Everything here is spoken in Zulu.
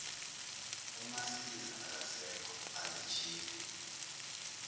umasiza akasekho azijike